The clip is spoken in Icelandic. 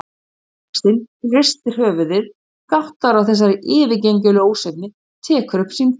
Stórlaxinn hristir höfuðið, gáttaður á þessari yfirgengilegu ósvífni, tekur upp símtólið.